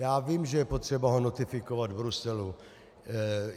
Já vím, že je potřeba ho notifikovat v Bruselu.